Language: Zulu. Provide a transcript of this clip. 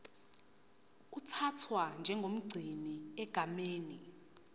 uthathwa njengomgcini egameni